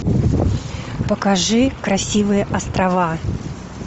покажи красивые острова